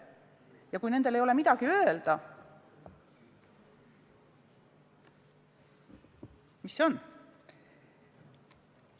Ja kui neil ei ole midagi öelda, mis see on?